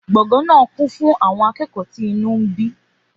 Gbọ̀ngàn náà kún fún àwọn akẹ́kọ̀ọ́ tí inú bí.